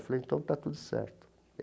Eu falei, então tá tudo certo.